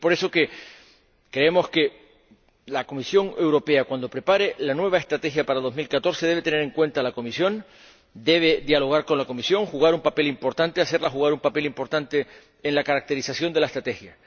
Y, por eso, creemos que la Comisión Europea, cuando prepare la nueva Estrategia para 2014, debe tener en cuenta a la comisión, debe dialogar con la comisión y hacerle desempeñar un papel importante en la caracterización de la Estrategia.